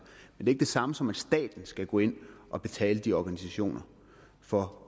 men det samme som at staten skal gå ind og betale de organisationer for